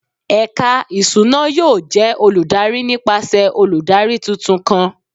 Ẹka iṣuna yoo jẹ oludari nipasẹ oludari tuntun kan